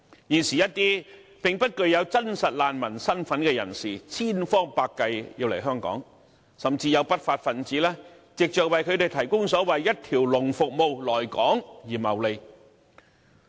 現時一些並不具真實難民身份的人士，千方百計要來香港，甚至有不法分子藉着為他們提供所謂一條龍服務來港而謀利。